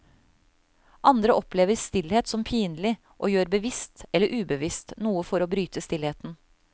Andre opplever stillhet som pinlig, og gjør bevisst eller ubevisst noe for å bryte stillheten.